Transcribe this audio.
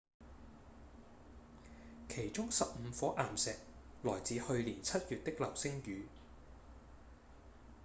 其中十五顆岩石來自去年七月的流星雨